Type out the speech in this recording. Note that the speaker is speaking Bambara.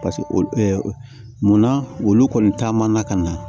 Paseke olu munna olu kɔni taama na ka na